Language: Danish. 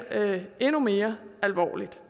endnu mere alvorligt